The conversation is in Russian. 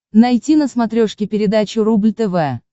найти на смотрешке передачу рубль тв